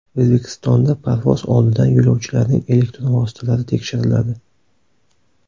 O‘zbekistonda parvoz oldidan yo‘lovchilarning elektron vositalari tekshiriladi.